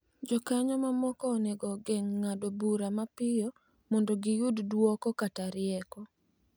Jokanyo mamoko onego ogeng' ng'ado bura mapiyo mondo giyud duoko kata rieko,